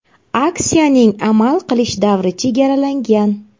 Aksiyaning amal qilish davri chegaralangan.